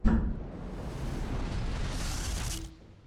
на ютюбе битый пиксель